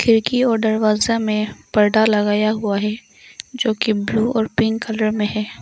खिड़की और दरवाजा में पर्दा लगाया हुआ है जो की ब्लू और पिंक कलर में है।